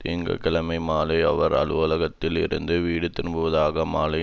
திங்கள் கிழமை மாலை அவர் அலுவலகத்தில் இருந்து வீடு திரும்புவதாக மாலை